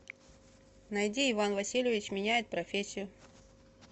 найди иван васильевич меняет профессию